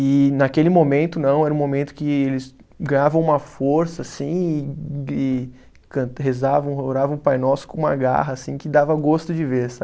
E naquele momento, não, era um momento que eles ganhavam uma força, assim, e e cant, rezavam, oravam o Pai Nosso com uma garra, assim, que dava gosto de ver, sabe?